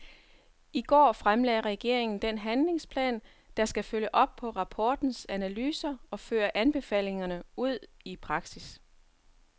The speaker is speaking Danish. I går fremlagde regeringen den handlingsplan, der skal følge op på rapportens analyser og føre anbefalingerne ud i praksis.